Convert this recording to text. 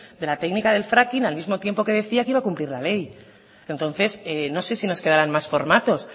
de la técnica del fracking al mismo tiempo que decía que iba a cumplir la ley entonces no sé si nos quedaran más formatos